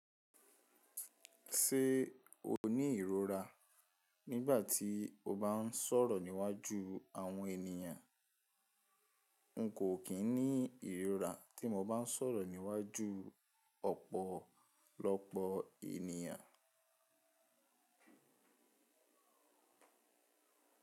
Ṣé o ní ìrora nígbà tí o bá ń sọ̀rọ̀ níwájú àwọn ènìyàn? N kò kín ní ìrora tí mo bá ń sọ̀rọ̀ níwájú ọ̀pọ̀lọpọ̀ ènìyàn.